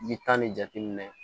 I bi taa ni jateminɛ ye